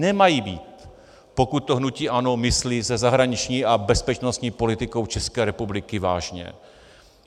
Nemají být, pokud to hnutí ANO myslí se zahraniční a bezpečnostní politikou České republiky vážně.